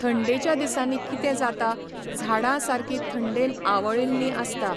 थंडेच्या दिसांनी कितें जाता, झाडां सारकी थंडेन आवळ्ळेलीं आसता.